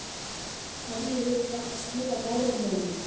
Hverju hefur þetta skilað Norðmönnum?